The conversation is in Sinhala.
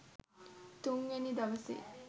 තුන්වෙනි දවසේ